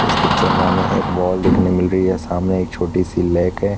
इस पिक्चर में हमें एक बॉल देखने मिल रही है सामने एक छोटी-सी लैक है।